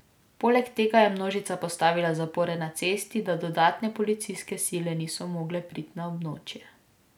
Poleg tega je množica postavila zapore na cesti, da dodatne policijske sile niso mogle priti na območje.